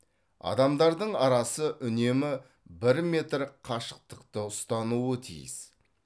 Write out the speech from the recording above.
адамдардың арасы үнемі бір метр қашықтықты ұстануы тиіс